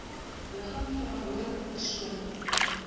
ligging verantwoordelike persoon